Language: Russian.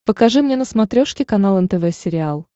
покажи мне на смотрешке канал нтв сериал